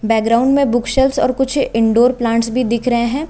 Bookshelves और कुछ indoor plants भी दिख रहे हैं।